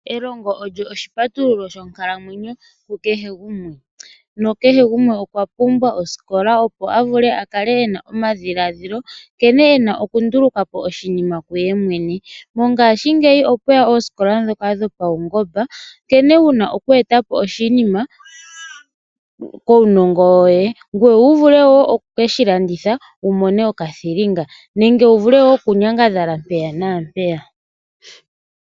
Elongo olyo oshipatululo shonkalamwenyo ku kehe gumwe. Nakehe gumwe okwa pumbwa elongo opo akale ena omadhiladhilo nkene wuna okunduluka po oshinima kungoye mwene. Mongaashingeyi okuna osikola dhoka dhopawungomba nkene wuna okunduluka po iinima kuunongo woye opo wuvule woo oku ke shilanditha wu mone mo okathilinga wuvule woo okunyangadhala mpaaka na peyaka.